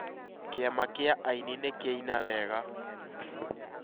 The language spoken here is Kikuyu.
Kĩama kĩa aini nĩ kĩaĩna wega